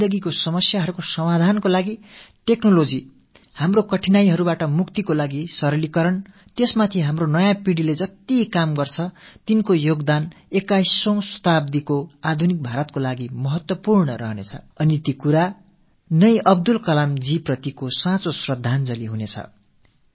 இவற்றின் மீது நமது இளைய தலைமுறையினர் எந்த அளவுக்கு கவனம் செலுத்துகிறார்களோ 21ஆம் நூற்றாண்டின் நவீன பாரதம் சமைப்பதில் அந்த அளவுக்கு அவர்களின் பங்கு மகத்தானதாக இருக்கும் இதுவே அப்துல் கலாம் அவர்களின் நினைவுகளுக்கு நாம் செலுத்தக் கூடிய உண்மையான ச்ரத்தாஞ்சலியாகவும் அமையும்